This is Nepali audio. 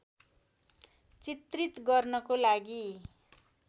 चित्रित गर्नको लागि